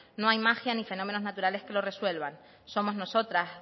no hay magia ni fenómenos naturales que lo resuelvan somos nosotras